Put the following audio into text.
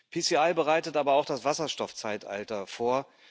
PCI bereitet aber auch das Wasserstoffzeitalter vor.